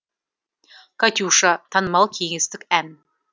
катюша танымал кеңестік ән